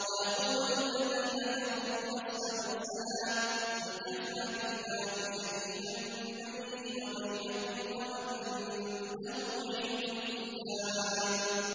وَيَقُولُ الَّذِينَ كَفَرُوا لَسْتَ مُرْسَلًا ۚ قُلْ كَفَىٰ بِاللَّهِ شَهِيدًا بَيْنِي وَبَيْنَكُمْ وَمَنْ عِندَهُ عِلْمُ الْكِتَابِ